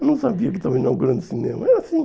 Eu não sabia que estava inaugurando cinema. É assim